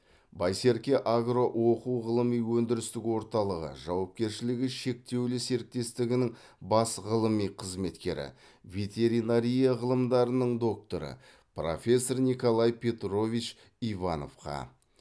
байсерке агро оқу ғылыми өндірістік орталығы жауапкершілігі шектеулі серіктестігінің бас ғылыми қызметкері ветеринария ғылымдарының докторы профессор николай петрович ивановқа